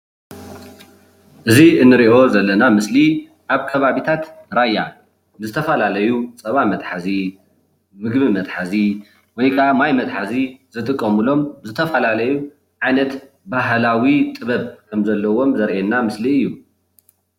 እዚ እንሪኦ ዘለና ምስሊ አብ ከባቢታት ራያ ብዝተፈላለዩ ፀባ መትሓዚ፣ ምግቢ መትሓዚ ወይከዓ ማይ መትሓዚ ዝጥቀሙሎም ዝተፈላለዩ ዓይነት ባህላዊ ጥበብ ከምዘለዎም ዘርኤና ምስሊ እዩ።